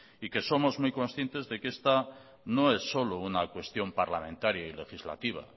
y que somos muy conscientes de que esta no es solo una cuestión parlamentaria y legislativa